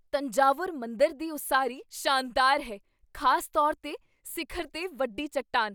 ਤੰਜਾਵੁਰ ਮੰਦਰ ਦੀ ਉਸਾਰੀ ਸ਼ਾਨਦਾਰ ਹੈ, ਖ਼ਾਸ ਤੌਰ 'ਤੇ ਸਿਖਰ 'ਤੇ ਵੱਡੀ ਚੱਟਾਨ।